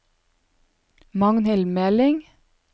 Magnhild Meling